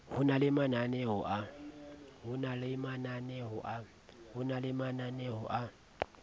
ho na le mananeo a